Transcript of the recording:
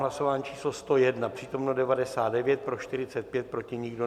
Hlasování číslo 101, přítomno 99, pro 45, proti nikdo.